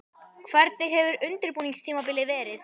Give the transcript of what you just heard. Hvernig hefur undirbúningstímabilið verið?